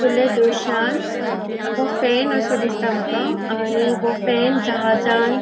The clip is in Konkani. फुडल्या दृश्यांन हो फैन असो दिसता माका आणि हो फैन जहाजान --